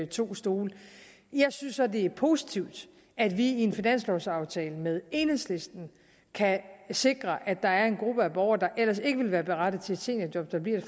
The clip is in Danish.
to stole jeg synes så det er positivt at vi i en finanslovaftale med enhedslisten kan sikre at en gruppe af borgere der ellers ikke ville være berettiget til et seniorjob bliver